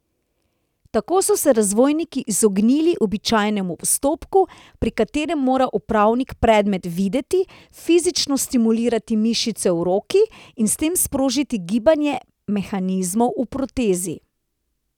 Tako so se razvojniki izognili običajnemu postopku, pri katerem mora uporabnik predmet videti, fizično stimulirati mišice v roki in s tem sprožiti gibanje mehanizmov v protezi.